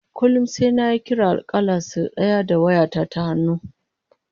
Kullum sai nayi kira a kalla sai daya da waya ta ta hannu